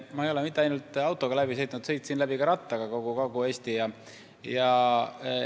Ma ei ole mitte ainult autoga maakonnad läbi sõitnud, vaid ma sõitsin ka rattaga kogu Kagu-Eesti läbi.